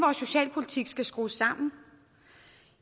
socialpolitikken skal skrues sammen